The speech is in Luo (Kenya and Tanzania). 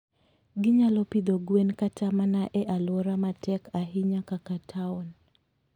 Ginyalo pidho gwen kata mana e alwora matek ahinya kaka taon.